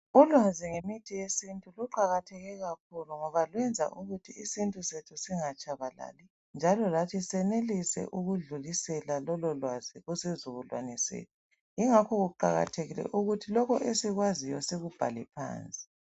Ulwazi ngemithi yesintu luqakathekile kakhulu ngoba lwenza ukuthi isintu sethu singatshabalali njalo lathi senelise ukudlulisela lolo lwazi kusizukulwane sethu, yingakho kuqakathekile ukuthi lokho esikwaziyo sikubhale phansi.